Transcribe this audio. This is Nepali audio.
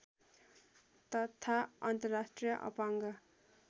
तथा अन्तर्राष्ट्रिय अपाङ्ग